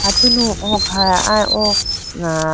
atunu oo kha aya oo ah--